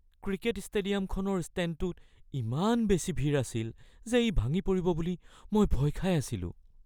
cricket ষ্টেডিয়ামখনৰ ষ্টেণ্ডটোত ইমান বেছি ভিৰ আছিল যে ই ভাঙি পৰিব বুলি মই ভয় খাই আছিলোঁ